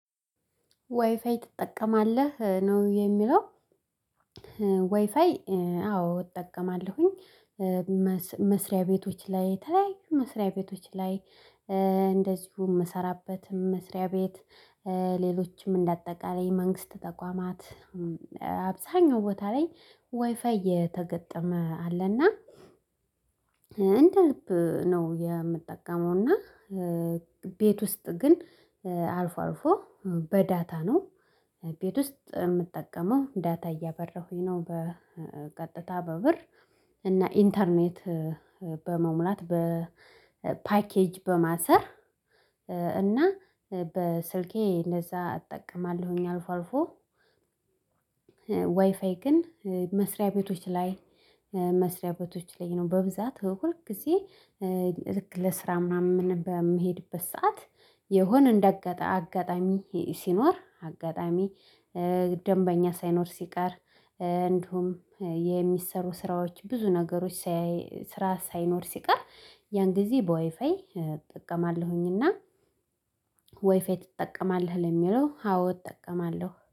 ዋይፋይ ትጠቀማለህ? ነው የሚለው ዋይፋይ አዎ እጠቀማለሁኝ። መስሪያ ቤቶች ላይ የተለያዩ መስሪያ ቤቶች ላይ እንደዚሁም ምሰራበትም መስሪያ ቤት ሌሎችም እንደ አጠቃላይ መንግስት ተቋማት አብዛኛው ቦታ ላይ ዋይፋይ የተገጠመ አለና እንደ ልብ ነው የምጠቀመው እና ቤት ውስጥ ግን አልፎ አልፎ በዳታ ነው። ቤት ውስጥ ምጠቀመው ዳታ እያበራሁኝ ነው። በቀጥታ በብር እና ኢንተርኔት በመሙላት በፓኬጅ በማሰር እና በስልኬ እንደዛ እጠቀማለሁኝ አልፎ አልፎ ዋይፋይ ግን መስሪያ ቤቶች ላይ መስሪያ ቤቶች ላይ ነው በብዛት ሁል ጊዜ ልክ ለስራ ምናምን በምሄድበት ሰዓት የሆነ እንደ አጋጣሚ ሲኖር አጋጣሚ ደንበኛ ሳይኖር ሲቀር እንዲሁም የሚሰሩ ስራዎች ብዙ ነገሮች ስራ ሳይኖር ሲቀር ያን ጊዜ በወይፋይ እጠቀማለሁኝና ዋይፋይ ትጠቀማለህ? ለሚለው አዎ እጠቀማለሁ።